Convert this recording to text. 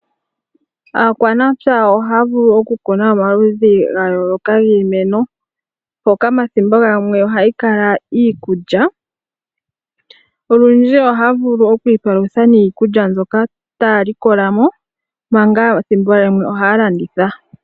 Aanamapya ohaya vulu okukuna omaludji ogendji giimeno mpoka thimbo limwe ohayi kala iikulya. Olundji ohaya vulu okwiipalutha niikulya mbyoka taya likolamo thimbo limwe ohaya landitha.